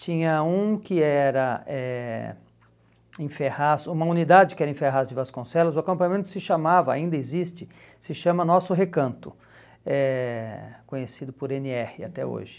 Tinha um que era eh em Ferraz, uma unidade que era em Ferraz de Vasconcelos, o acampamento se chamava, ainda existe, se chama Nosso Recanto, eh conhecido por ene erre até hoje.